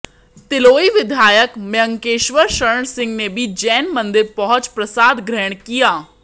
तिलोई विधायक मयंकेश्वर शरण सिंह ने भी जैन मंदिर पहुंच प्रसाद ग्रहण किया